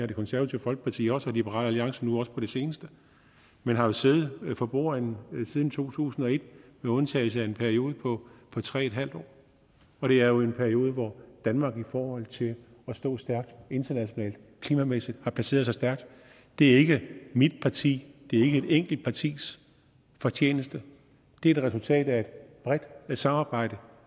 det konservative folkeparti også og liberal alliance nu også på det seneste man har siddet for bordenden siden to tusind og et med undtagelse af en periode på tre en halv år og det er jo en periode hvor danmark i forhold til at stå stærkt internationalt klimamæssigt har placeret sig stærkt det er ikke mit partis det er ikke et enkelt partis fortjeneste det er et resultat af et bredt samarbejde